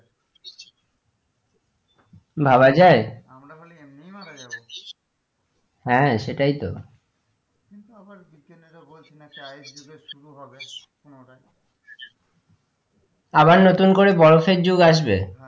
ভাবা যায় আমরা হলে এমনিই মারা যাবো হ্যাঁ সেটাই তো কিন্তু আবার বিজ্ঞনীর বলছে না কি আবার ice যুগের শুরু হবে পুনরায় আবার নতুন করে বরফের যুগ আসবে?